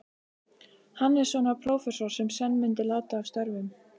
Hannessonar, prófessors, sem senn myndi láta af störfum.